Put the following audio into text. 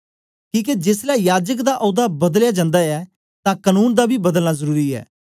किके जेसलै याजक दा औदा बदलया जन्दा ऐ तां कनून दा बी बदलना जरुरी ऐ